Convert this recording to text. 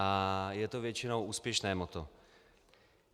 A je to většinou úspěšné motto.